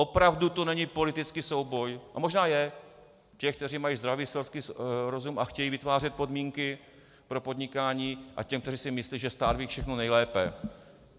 Opravdu to není politický souboj - a možná je - těch, kteří mají zdravý selský rozum a chtějí vytvářet podmínky pro podnikání, a těch, kteří si myslí, že stát ví všechno nejlépe.